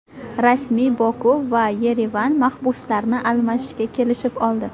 Rasmiy Boku va Yerevan mahbuslarni almashishga kelishib oldi.